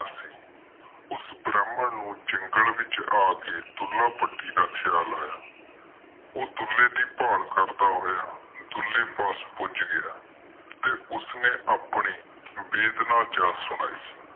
ਉਸ ਬ੍ਰਾਹਮਣ ਨੂੰ ਜੰਗਲੇ ਚ ਆ ਕੇ ਦੁਹਲਾ ਭੱਟੀ ਦਾ ਖ਼ਯਾਲ ਆਯਾ ਉਹ ਦੁਹੱਲਾ ਦੇ ਭਾਲ ਕਰਦਾ ਹੋਇਆ ਧਉਲੇ ਪਾਸ ਪੁੱਜ ਗਿਆ ਤੇ ਉਸਨੇ ਆਪਣੀ ਬੇਬੇਈਆਂ ਦਾਸਤਾਨ ਸੁਣਾਈ